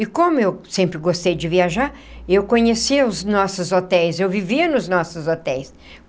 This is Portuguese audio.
E como eu sempre gostei de viajar, eu conhecia os nossos hotéis, eu vivia nos nossos hotéis.